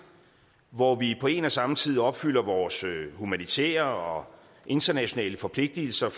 hvor vi på en og samme tid opfylder vores humanitære og internationale forpligtelser